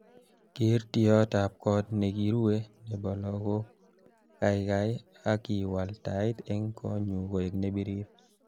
Ker tiatab kot nekiruwe nebo lakok kaikai ak iwal tait eng konyu koek nebirir